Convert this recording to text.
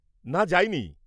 না যাইনি।